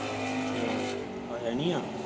ਅੱਛਾ ਆਯਾ ਨੀ ਆ